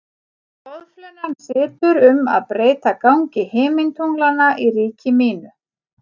Boðflennan situr um að breyta gangi himintunglanna í ríki mínu.